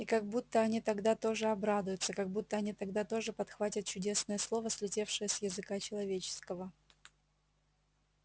и как будто они тогда тоже обрадуются как будто они тогда тоже подхватят чудесное слово слетевшее с языка человеческого